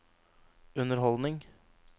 underholdning